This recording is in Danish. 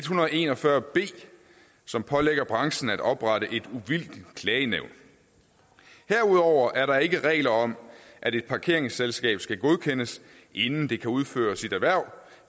hundrede og en og fyrre b som pålægger branchen at oprette et uvildigt klagenævn herudover er der ikke regler om at et parkeringsselskab skal godkendes inden det kan udføre sit erhverv